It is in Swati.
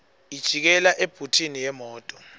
ijikela ebhuthini yemoto